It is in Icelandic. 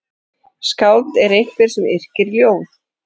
Skáld er einhver sem yrkir ljóð.